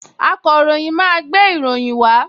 Akọ̀ròyìn máa gbé ìròyìn wá